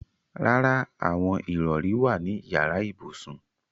Rárá, àwọn ìrọrí wà ní yàrá ibùsùn.